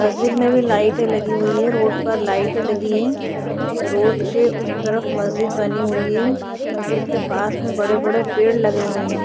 मस्जिद में भी लाइटे लगी हुई है रोड पर लाइटे लगी है रोड के उस तरफ मस्जिद बनी हुई है मस्जिद के पास में बड़े बड़े पेड़ लगे हुए है।